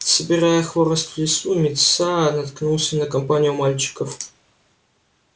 собирая хворост в лесу мит са наткнулся на компанию мальчиков